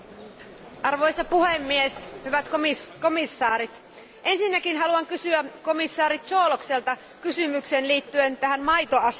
Arvoisa puhemies, hyvät komissaarit, ensinnäkin haluan kysyä komissaari Cioloşilta kysymyksen liittyen tähän maitoasiaan.